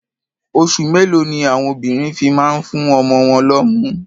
Oṣù mélòó ni àwon obìnrin fi máa ń fún ọmọ wọn lọ́mú?